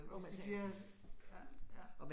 Hvis de bliver ja ja